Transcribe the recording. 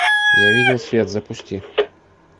я видел свет запусти